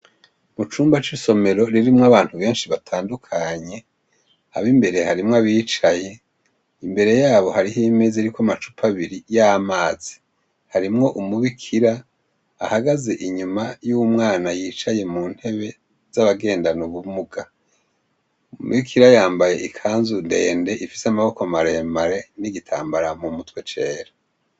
Mucumba c' isomero ririmw' abantu benshi batandukanye , ab' imbere harimw' abicay' imbere yabo har' imez' irik' amacup' abiri y' amazi, harimw' umubikir' ahagaz' inyuma y' umwana yicaye mu ntebe zabagendan' ubumuga, umubikira yambay' ikanzu ndend' ifis' amaboko maremare n' igitambara mu mutwe cera.